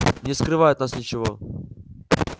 не скрывай от нас ничего